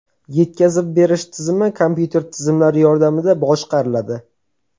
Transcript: Yetkazib berish tizimi kompyuter tizimlari yordamida boshqariladi .